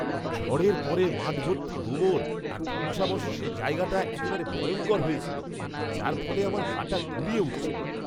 ঝড়ের পরে মাঠভর্তি গোবর আর ধ্বংসাবশেষে জায়গাটা একেবারে ভয়ঙ্কর হয়ে ছিল, যার ফলে আমার গা টা গুলিয়ে উঠছিল!